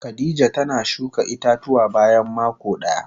Khadijah tana shuka ita-tuwa bayan mako daya.